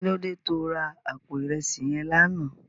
Kilódé tó rá àpó irèsí yèn làná?